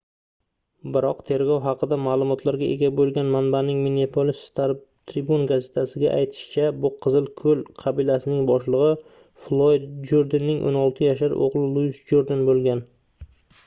biroq tergov haqida maʼlumotlarga ega boʻlgan manbaning minneapolis star-tribune gazetasiga aytishicha bu qizil koʻl qabilasining boshligʻi floyd jurdenning 16 yashar oʻgʻli luis jurden boʻlgan